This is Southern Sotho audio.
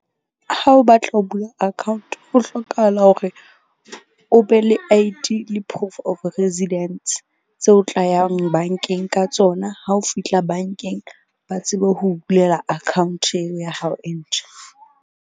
Ha o batla ho bula account, ho hlokahala hore o be le I_D le proof of residence tse o tlayang bank-eng ka tsona. Ha o fihla bank-eng ba tsebe ho bulela account-eng ya hao e ntjha.